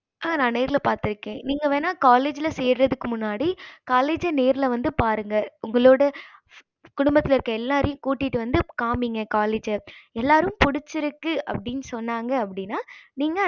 ஆஹ் நான் நேர்ல பாத்திருக்கேன் நீங்க வேன்னுனா college சேர்த்துக்கு முன்னாடி college நேர்ல வந்து பாருங்க உங்களோட குடும்பத்துல இருக்க எல்லாத்தைக்கு கூட்டிட்டு வந்து காமிங்க college எல்லாரு புடிச்சிருக்கு அப்படின்னு சொன்னாங்க அப்படின்னா நீங்க